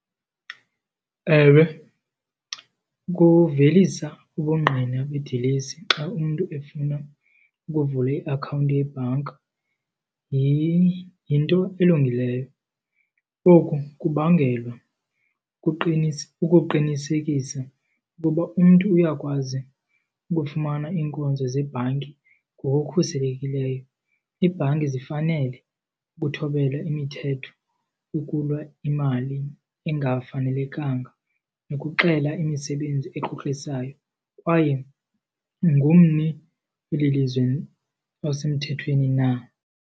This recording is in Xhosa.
Ewe, ukuvelisa ubungqina bedilesi xa umntu efuna ukuvula iakhawunti yebhanka yinto elungileyo. Oku kubangelwa ukuqinisekisa ukuba umntu uyakwazi ukufumana iinkonzo zebhanki ngokukhuselekileyo. Iibhanki zifanele ukuthobela imithetho ukulwa imali engafanelekanga nokuxela imisebenzi ekrokrisayo kwaye ungummi weli lizwe osemthethweni na.